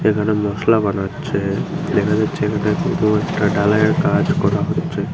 এখানে মশলা বানাচ্ছে দেখা যাচ্ছে এখানে কিন্ত একটা ডালাইয়ের কাজ করা হচ্ছে।